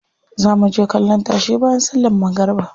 Za muje kallon tashe bayan sallan magariba.